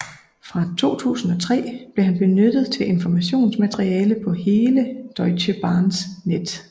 Fra 2003 blev han benyttet til informationsmateriale på hele Deutsche Bahns net